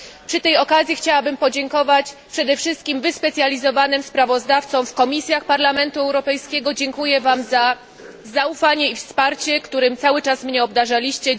Przy tej okazji chciałabym podziękować przede wszystkim wyspecjalizowanym sprawozdawcom w komisjach Parlamentu Europejskiego, dziękuję Wam za zaufanie i wsparcie, którym cały czas mnie obdarzaliście.